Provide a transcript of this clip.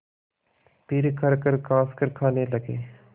फिर खरखर खाँसकर खाने लगे